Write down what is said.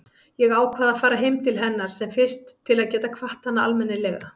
Ég ákvað að fara heim til hennar sem fyrst til að geta kvatt hana almennilega.